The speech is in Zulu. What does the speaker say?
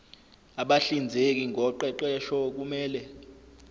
abahlinzeki ngoqeqesho kumele